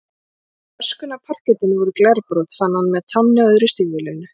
Og í öskunni af parkettinu voru glerbrot, fann hann með tánni á öðru stígvélinu.